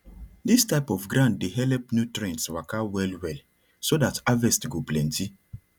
dis type of ground dey help nutrients waka well well so that harvest go plenty